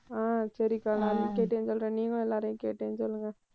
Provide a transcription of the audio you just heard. ஆஹ் சரிக்கா நான் கேட்டேன்னு சொல்றேன் நீங்களும் எல்லாரையும் கேட்டேன்னு சொல்லுங்க